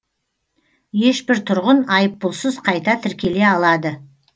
ешбір тұрғын айыппұлсыз қайта тіркеле алады